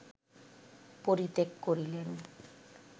পরিত্যাগ করিলেন